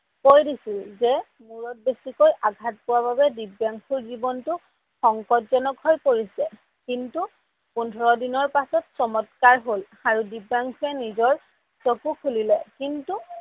কৈ দিছিল যে মোৰত বেছিকৈ আঘাত পোৱাৰ বাবে দিব্যাংসুৰ জীৱনটো সংকটজনক হৈ পৰিছে কিন্তু পোন্ধৰ দিনৰ পাছত চমতকাৰ হল আৰু দিব্যাংসুয়ে নিজৰ চকু খুলিলে কিন্তু